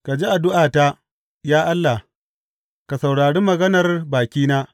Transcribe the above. Ka ji addu’ata, ya Allah; ka saurari maganar bakina.